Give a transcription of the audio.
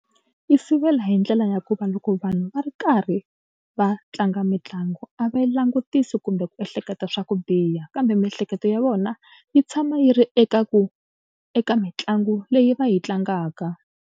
Yi sivela hi ndlela ya ku va loko vanhu va ri karhi va tlanga mitlangu a va langutisi kumbe ku ehleketa swa ku biha kambe miehleketo ya vona yi tshama yi ri eka ku eka mitlangu leyi va yi tlangaka.